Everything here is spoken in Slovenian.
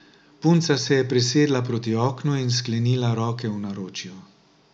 Punca se je presedla proti oknu in sklenila roke v naročju.